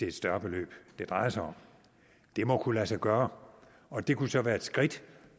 et større beløb det drejer sig om det må kunne lade sig gøre og det kunne så være et skridt